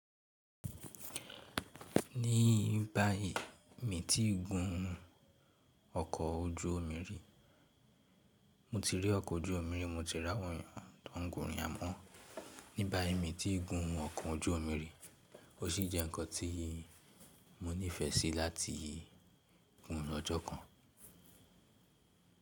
Ní báì mi ti gùn ún ọkọ̀ ojú omi rí, mo ti rí ọkọ̀ ojú omi rí, mo ti rí àwọn ènìyàn tó ń gùn yá mọ́. Ní báì mi ti gùn ún ọkọ̀ ojú omi rí, ó sì jẹ́ nǹkan tí mo nífẹ̀ẹ́ sí láti gùn ún lọjọ́ kan.